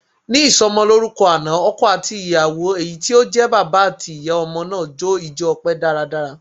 Ní ìsọmọlórúkọ àná, ọkọ àti ìyàwó èyí tí ó jẹ́ bàbá àti ìyá ọmọ náà jó ijo ọpẹ dáradára.